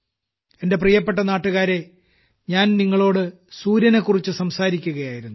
എന്റെ പ്രിയപ്പെട്ട നാട്ടുകാരേ ഞാൻ നിങ്ങളോട് സൂര്യനെക്കുറിച്ച് സംസാരിക്കുകയായിരുന്നു